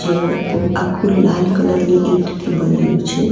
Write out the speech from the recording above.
તે આખુ લાલ કલર ની ઈંટથી બનેલુ છે.